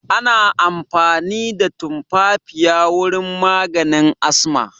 Ana amfani da tumfafiya wurin maganin asma